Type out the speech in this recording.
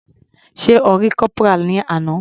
Sé O rí Corporal ní àná.